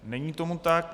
Není tomu tak.